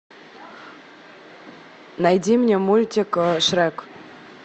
найди мне мультик шрек